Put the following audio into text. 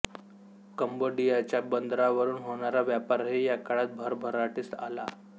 कंबोडियाच्या बंदरावरून होणारा व्यापारही या काळात भरभरभराटीस आला